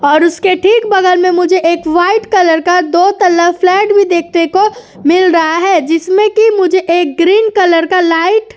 और उसके ठीक बगल में मुझे एक वाइट कलर का दो तल्ला फ्लैट भी देखने को मिल रहा है जिसमें की मुझे एक ग्रीन कलर का लाइट --